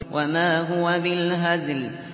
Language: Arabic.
وَمَا هُوَ بِالْهَزْلِ